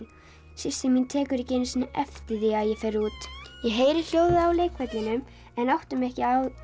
systir mín tekur ekki einu sinni eftir því að ég fer út ég heyri hljóðið á leikvellinum en átta mig ekki á